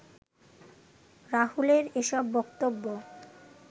রাহুলের এসব বক্তব্য